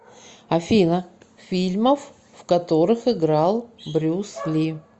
афина фильмов в которых играл брюс ли